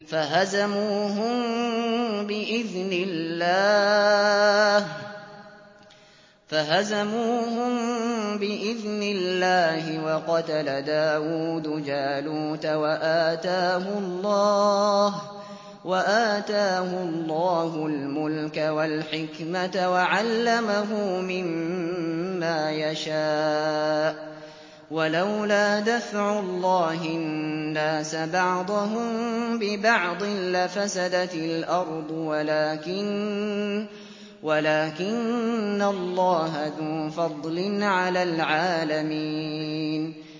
فَهَزَمُوهُم بِإِذْنِ اللَّهِ وَقَتَلَ دَاوُودُ جَالُوتَ وَآتَاهُ اللَّهُ الْمُلْكَ وَالْحِكْمَةَ وَعَلَّمَهُ مِمَّا يَشَاءُ ۗ وَلَوْلَا دَفْعُ اللَّهِ النَّاسَ بَعْضَهُم بِبَعْضٍ لَّفَسَدَتِ الْأَرْضُ وَلَٰكِنَّ اللَّهَ ذُو فَضْلٍ عَلَى الْعَالَمِينَ